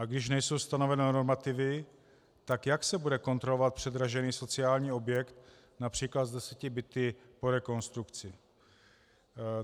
A když nejsou stanoveny normativy, tak jak se bude kontrolovat předražený sociální objekt například s deseti byty po rekonstrukci?